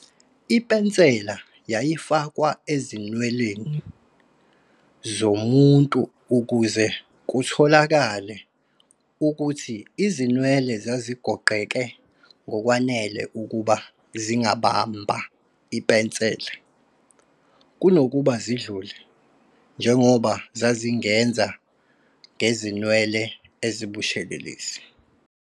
Ipensela yayifakwa ezinweleni zomuntu ukuze kutholakale ukuthi izinwele zazigoqene ngokwanele ukuba zingabamba ipensela, kunokuba zidlule, njengoba zazingenza ngezinwele ezibushelelezi.